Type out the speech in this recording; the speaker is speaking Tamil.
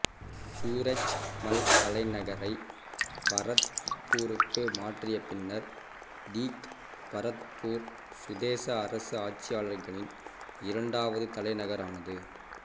சூரஜ் மல் தலைநகரை பரத்பூருக்கு மாற்றிய பின்னர் தீக் பரத்பூர் சுதேச அரசு ஆட்சியாளர்களின் இரண்டாவது தலைநகரானது